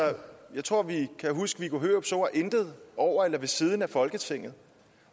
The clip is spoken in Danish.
jeg tror vi kan huske viggo hørups ord intet over eller ved siden af folketinget